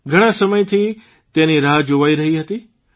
ઘણાં સમયથી તેની રાહ જોવાઇ રહી હતી